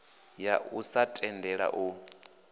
ya u sa tendela u